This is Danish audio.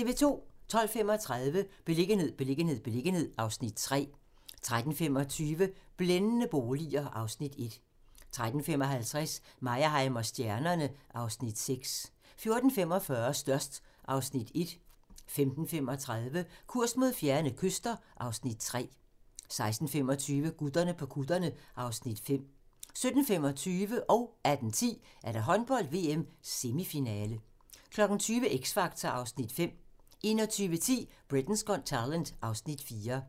12:35: Beliggenhed, beliggenhed, beliggenhed (Afs. 3) 13:25: Blændende boliger (Afs. 1) 13:55: Meyerheim & stjernerne (Afs. 6) 14:45: Størst (Afs. 1) 15:35: Kurs mod fjerne kyster (Afs. 3) 16:25: Gutterne på kutterne (Afs. 5) 17:25: Håndbold: VM – Semifinale 18:10: Håndbold: VM – Semifinale 20:00: X Factor (Afs. 5) 21:10: Britain's Got Talent (Afs. 4)